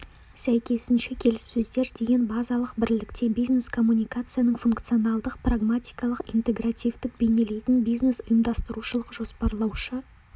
сәйкесінше келіссөздер деген базалық бірлікте бизнес коммуникацияның функционалдық-прагматикалық интегративтік бейнелейтін бизнес-ұйымдастырушылық-жоспарлаушы